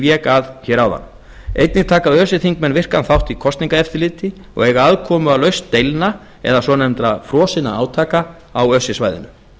vék að hér áðan einnig taka öse þingmenn virkan þátt í kosningaeftirliti og eiga aðkomu að lausn deilna eða svonefndra frosinna átaka á öse svæðinu